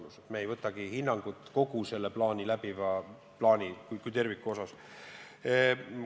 Loomulikult me ei võtagi seisukohta kogu selle plaani kui terviku osas.